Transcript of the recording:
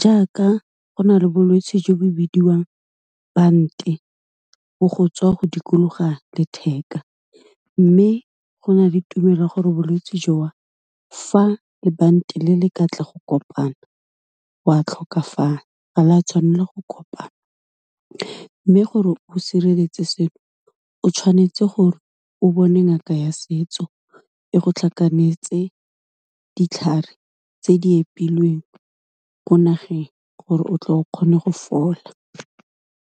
jaaka go na le bolwetsi jo bo bidiwang bante, bo go tswa go dikologa letheka, mme go na le tumelo ya gore bolwetsi jo fa lebanta le, le ka tla go kopana, wa tlhokafala, ga la tshwanela go kopana, mme gore o sireletse seno, o tshwanetse gore o bone ngaka ya setso, e go tlhakanetse ditlhare tse di epilweng ko nageng, gore o tle o kgone go fola.